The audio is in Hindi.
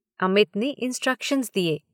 अमित ने इन्सट्रक्शन्स दिए।